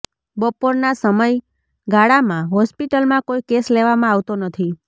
બપોરના સમય ગાળામાં હોસ્પિટલમાં કોઈ કેશ લેવામાં આવતો નથી